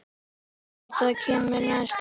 Veit hvað kemur næst.